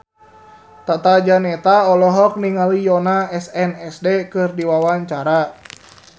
Tata Janeta olohok ningali Yoona SNSD keur diwawancara